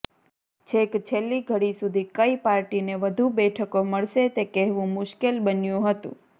છેક છેલ્લી ઘડી સુધી કઇ પાર્ટીને વધુ બેઠકો મળશે તે કહેવુ મુશ્કેલ બન્યુ હતું